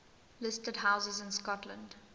listed houses in scotland